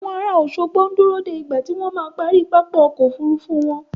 Àwọn ará Òṣogbo ń dúró de ìgbà tí wọ́n ma parí pápá ọkọ̀ Òfurufú wọn.